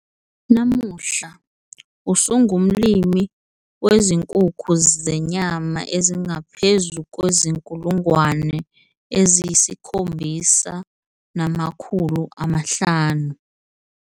Namuhla, usengumlimi wezinkukhu zenyama ezingaphezu kwezi-7 500.